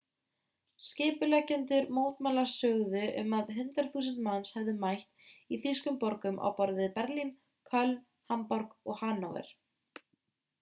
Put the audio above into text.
skipuleggjendur mótmælanna sögðu að um 100.000 manns hefðu mætt í þýskum borgum á borð við berlín köln hamborg og hannover